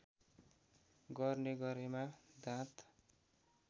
गर्ने गरेमा दाँत